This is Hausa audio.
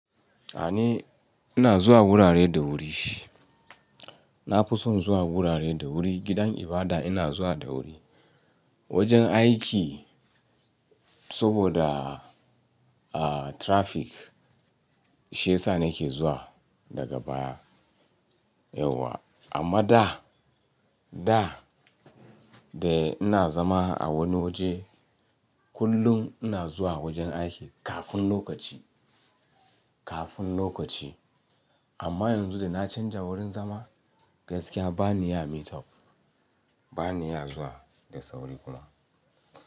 A ni ina zuwa gurare da wuri. Na fi son zuwa wurare da wuri, gidan ibada ina zuwa da wuri. Wajen aiki saboda, ah, traffic, shaiyasa nake zuwa daga baya yauwa. Amma da, da ina zama a wani waje, kullum ina zuwa wajen aiki kafin lokaci, kafin lokaci. Amma yanzu da na canja wurin zama, gaskiya ba ni ya meet up, ba ni ya zuwa da sauri kuma.